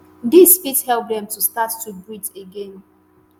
dis fit help dem to start to breathe again.